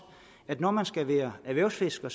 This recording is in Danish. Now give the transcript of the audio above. at når man skal være erhvervsfisker